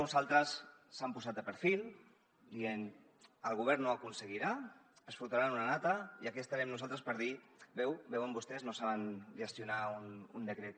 uns altres s’hi han posat de perfil dient el govern no ho aconseguirà es fotran una nata i aquí estarem nosaltres per dir veuen vostès no saben gestionar un decret